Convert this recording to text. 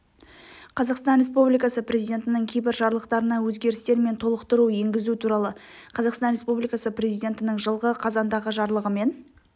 қазақстан республикасы президентінің кейбір жарлықтарына өзгерістер мен толықтыру енгізу туралы қазақстан республикасы президентінің жылғы қазандағы жарлығымен